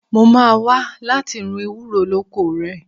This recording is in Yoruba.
Mo máa wá láti run ewúro lóko rẹ.